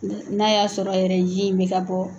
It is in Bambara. N'a y'a sɔrɔ yɛrɛ ji in bɛ ka bɔ.